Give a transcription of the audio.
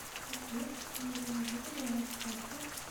сбер почему я не вижу баланс карты